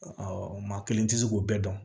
maa kelen tɛ se k'o bɛɛ dɔn